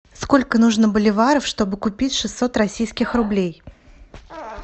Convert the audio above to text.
сколько нужно боливаров чтобы купить шестьсот российских рублей